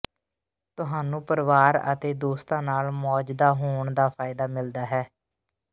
ਤੁਹਾਨੂੰ ਪਰਿਵਾਰ ਅਤੇ ਦੋਸਤਾਂ ਨਾਲ ਮੌਜਦਾ ਹੋਣ ਦਾ ਫਾਇਦਾ ਮਿਲਦਾ ਹੈ